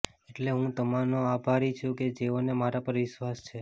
એટલે હું તમામનો આભારી છે કે જેઓને મારા પર વિશ્વાસ છે